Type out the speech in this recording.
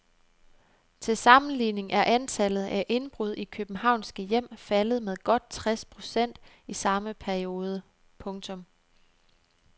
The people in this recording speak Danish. Til sammenligning er antallet af indbrud i københavnske hjem faldet med godt tres procent i samme periode. punktum